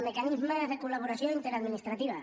mecanismes de col·laboració interadministrativa